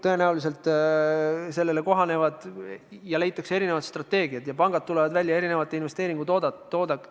Tõenäoliselt sellega kohanetakse, leitakse erinevad strateegiad ja pangad tulevad välja erinevate investeeringutoodetega.